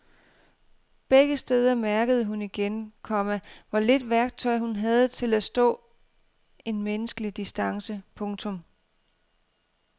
Begge steder mærkede hun igen, komma hvor lidt værktøj hun havde til at stå en menneskelig distance. punktum